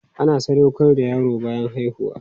Ana sadaukar da yaro bayan haihuwa.